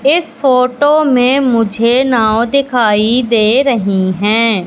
इस फोटो में मुझे नाव दिखाई दे रही है।